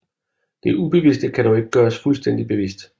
Det ubevidste kan dog ikke gøres fuldstændig bevidst